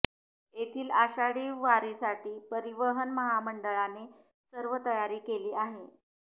येथील आषाढी वारीसाठी परिवहन महामंडळाने सर्व तयारी केली आहे